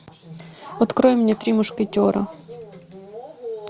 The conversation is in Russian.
открой мне три мушкетера